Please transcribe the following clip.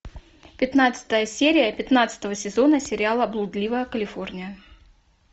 пятнадцатая серия пятнадцатого сезона сериала блудливая калифорния